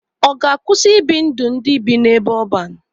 Ọ ga-akwụsị ibi ndụ ndị bi n'ebe ọban?